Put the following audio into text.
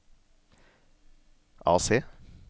AC